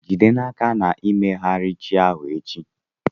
Jide n'aka na i meyara chi ahụ echi.